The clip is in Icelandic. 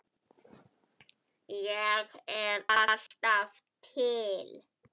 Ég er alltaf til.